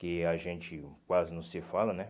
Que a gente quase não se fala, né?